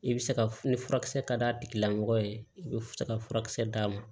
I bɛ se ka ni furakisɛ ka d'a tigilamɔgɔ ye i bɛ se ka furakisɛ d'a ma